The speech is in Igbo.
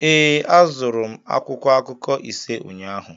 Ee, azụrụ m akwụkwọ akụkọ ise ụnyaahụ